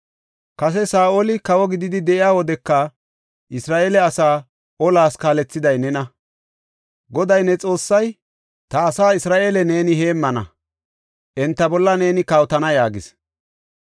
Kase Saa7oli kawo gididi de7iya wodeka, Isra7eele asaa olas kaalethiday nena. Goday ne Xoossay, ‘Ta asaa Isra7eele neeni heemmana; enta bolla neeni kawotana’ ” yaagis.